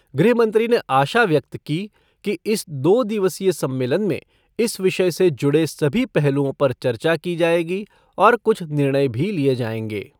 गृह मंत्री ने आशा व्यक्त की कि इस दो दिवसीय सम्मेलन में इस विषय से जुड़े सभी पहलुओं पर चर्चा की जाएगी और कुछ निर्णय भी लिये जाएंगे।